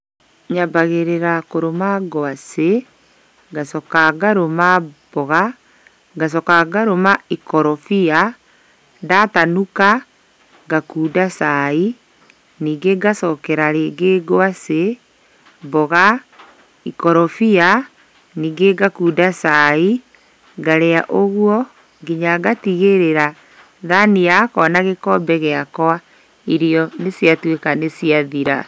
Nyambagĩrĩra kũrũma ngwacĩ, ngacoka ngarũma mboga, ngacoka ngarũma ikorobia, ndatanuka, ngakunda cai, ningĩ ngacokera rĩngĩ ngwacĩ, mboga, ikorobia, ningĩ ngakunda cai, ngarĩa ũguo, nginya ngatigĩrĩra thani yakwa na gĩkombe gĩakwa, irio nĩciatuĩka nĩciathira.